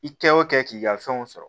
I kɛ o kɛ k'i ka fɛnw sɔrɔ